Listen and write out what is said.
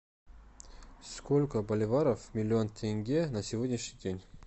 сколько боливаров миллион тенге на сегодняшний день